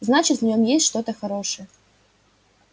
значит в нем есть что-то хорошее